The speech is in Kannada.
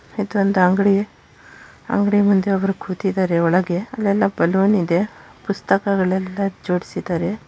ಇದು ಒಂದು ಅಂಗಡಿ ಅಂಗಡಿ ಮುಂದೆ ಒಬ್ಬರು ಕೂತಿದ್ದಾರೆ ಒಳಗೆ ಅಲೆಲ್ಲಾ ಬಲೂನ್‌ ಇದೆ ಪುಸ್ತಕಗಳೆಲ್ಲಾ ಜೋಡಿಸಿದ್ದಾರೆ.